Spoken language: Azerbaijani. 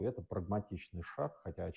Bu praqmatik addımdır.